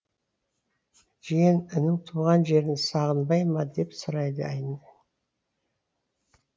жиен інің туған жерін сағынбай ма деп сұрайды айн